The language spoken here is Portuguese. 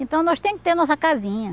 Então, nós tem que ter nossa casinha.